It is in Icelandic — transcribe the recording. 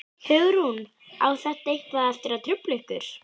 Hugrún: Á þetta eitthvað eftir að trufla ykkur?